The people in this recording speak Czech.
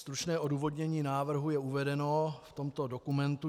Stručné odůvodnění návrhu je uvedeno v tomto dokumentu.